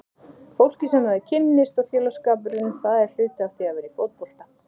Fólkið sem maður kynnist og félagsskapurinn, það er hluti af því að vera í fótbolta.